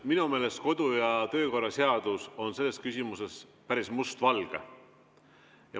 Minu meelest on kodu‑ ja töökorra seadus selles küsimuses päris mustvalge.